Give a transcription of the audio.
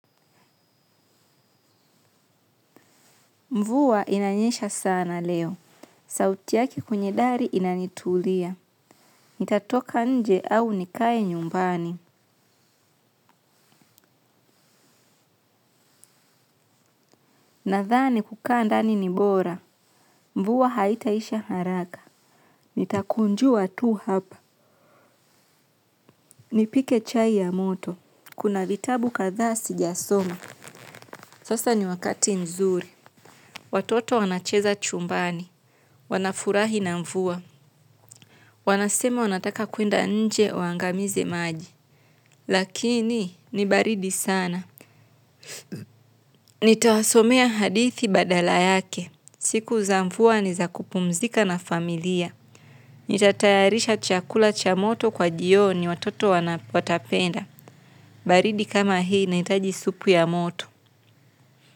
Mvuwa inanyesha sana leo. Sauti yake kwenye dari inanitulia. Nitatoka nje au nikaye nyumbani. Nathani kukaa ndani nibora. Mvuwa haitaisha haraka. Nitakunjua tu hapa. Nipike chai ya moto. Kuna vitabu katha sijasoma. Sasa ni wakati nzuri. Watoto wanacheza chumbani. Wanafurahi na mvuwa. Wanasema wanataka kuenda nje wangamize maji. Lakini ni baridi sana. Nitawasomea hadithi badala yake. Siku za mfuwa ni za kupumzika na familia. Nitatayarisha chakula cha moto kwa jioni watoto wanapotapenda baridi kama hii inaitaji supu ya moto.